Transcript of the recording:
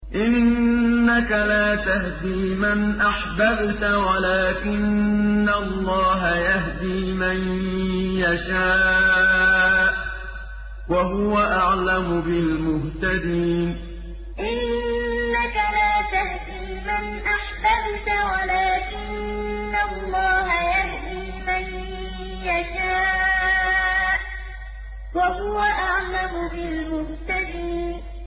إِنَّكَ لَا تَهْدِي مَنْ أَحْبَبْتَ وَلَٰكِنَّ اللَّهَ يَهْدِي مَن يَشَاءُ ۚ وَهُوَ أَعْلَمُ بِالْمُهْتَدِينَ إِنَّكَ لَا تَهْدِي مَنْ أَحْبَبْتَ وَلَٰكِنَّ اللَّهَ يَهْدِي مَن يَشَاءُ ۚ وَهُوَ أَعْلَمُ بِالْمُهْتَدِينَ